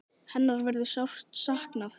Hennar verður sárt saknað.